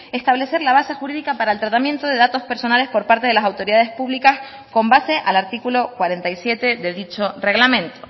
establecer la base jurídica para el tratamiento de datos personales por parte de las autoridades públicas con base al artículo cuarenta y siete de dicho reglamento